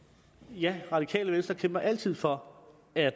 jamen radikale venstre kæmper altid for at